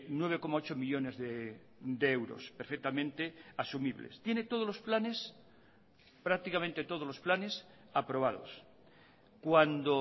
nueve coma ocho millónes de euros perfectamente asumibles tiene todos los planes prácticamente todos los planes aprobados cuando